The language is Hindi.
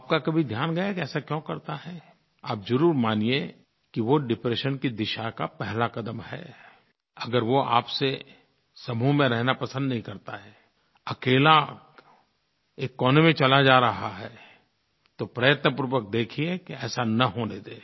आपका कभी ध्यान गया है कि ऐसा क्यों करता है आप ज़रूर मानिए कि वो डिप्रेशन की दिशा का पहला क़दम है अगर वो आप से समूह में रहना पसंद नहीं करता है अकेला एक कोने में चला जा रहा है तो प्रयत्नपूर्वक देखिए कि ऐसा न होने दें